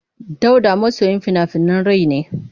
Dauda masoyin fina-finan rai ne.